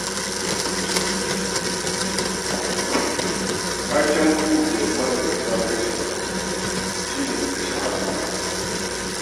Taken ƙungiyar manazarta harshen Hausa shi ne,' harshena, abin alfaharina'.